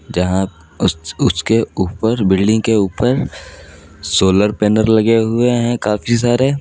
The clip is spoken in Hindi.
यहां उसके ऊपर बिल्डिंग के ऊपर सोलर पैनल लगे हुए हैं काफी सारे।